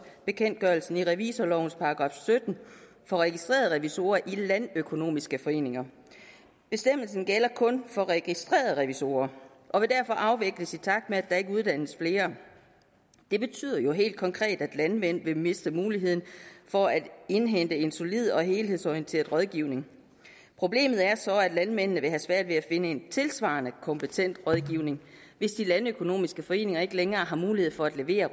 bekendtgørelsen i revisorlovens § sytten for registrerede revisorer i landøkonomiske foreninger bestemmelsen gælder kun for registrerede revisorer og vil derfor afvikles i takt med at der ikke uddannes flere det betyder jo helt konkret at landmænd vil miste muligheden for at indhente en solid og helhedsorienteret rådgivning problemet er så at landmændene vil have svært ved at finde en tilsvarende kompetent rådgivning hvis de landøkonomiske foreninger ikke længere har mulighed for at levere